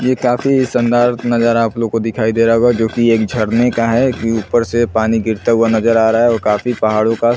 ये काफी शानदार नजारा आप लोगो को दिखाई दे रहा होगा जो की एक झरने का है कि ऊपर से पानी गिरता हुआ नजर आ रहा है ओर काफी पहाड़ों का--